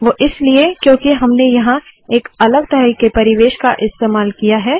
वोह इसलिए क्योंकि हमने यहाँ एक अलग तरह के परिवेश का इस्तेमाल किया है